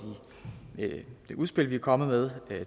i det udspil vi er kommet med